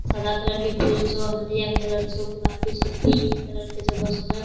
सादा कलर के फूल छो हलदिया कलर छो गुलाबी छो पिंक कलर के जो बहुत सुन्दर --